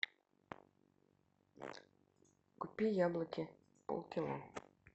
купи яблоки полкило